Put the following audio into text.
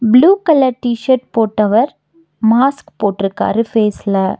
Blue colour T shirt போட்டவர் mask போட்டுருக்காரு ஃபேஸ்ல .